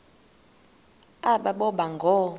aba boba ngoo